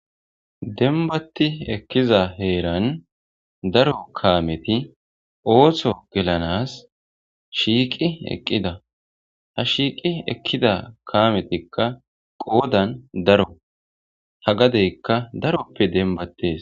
Denbatti ekkiza heeran daro kaameti oohsho gelanas shiiqi eqqida ha shiiqi ekkida kaametikka qoodan daro ha gadeykka daroppe denbatees.